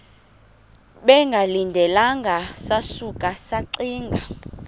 bengalindelanga sasuka saxinga